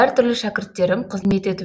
әртүрлі шәкірттерім қызмет етіп